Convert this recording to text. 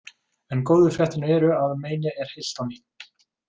En góðu fréttirnar eru að menið er heilt á ný